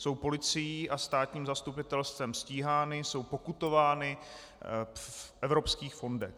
Jsou policií a státním zastupitelstvem stíhány, jsou pokutovány v evropských fondech.